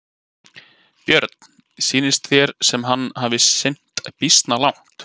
Björn: Sýnist þér sem hann hafi synt býsna langt?